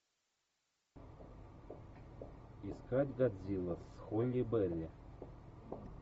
искать годзилла с холли берри